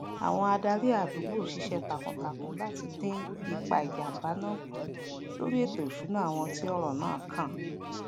àwon adarí àdùgbò sisé takun takun láti dín ipa ìjàmbá náà kù lórí ètò ìsúná àwon tí òrò náà kàn